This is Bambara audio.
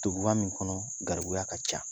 Dugba min kɔnɔ , garibuya ka ca.